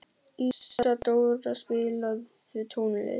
Ísadóra, spilaðu tónlist.